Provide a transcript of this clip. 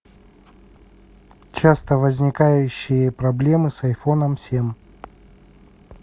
часто возникающие проблемы с айфоном семь